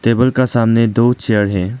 Table का सामने दो चेयर है।